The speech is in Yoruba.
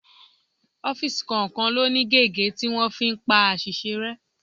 Ọ́fíìsì kọ̀ọ̀kan ló ní gege tí wọ́n fi ń pa àṣìṣe rẹ.